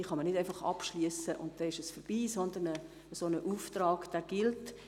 Diese können nicht einfach abgeschlossen werden, und dann ist es vorbei, sondern ein solcher Auftrag gilt.